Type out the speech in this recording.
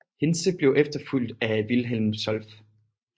Hintze blev efterfulgt af Wilhelm Solf